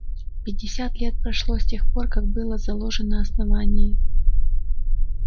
пятьдесят лет прошло с тех пор как было заложено основание